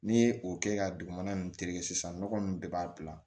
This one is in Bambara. N'i ye o kɛ ka dugumana nunnu tereke sisan nɔgɔ nunnu bɛɛ b'a bila